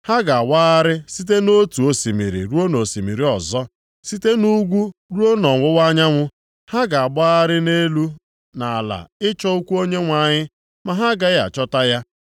Ha ga-awagharị site nʼotu osimiri ruo nʼosimiri ọzọ, sitekwa nʼugwu ruo nʼọwụwa anyanwụ; ha ga-agbagharị nʼelu na ala ịchọ okwu Onyenwe anyị, ma ha agaghị achọta ya.